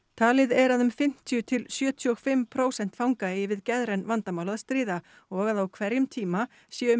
talið er að um fimmtíu til sjötíu og fimm prósent fanga eigi við geðræn vandamál að stríða og að á hverjum tíma séu um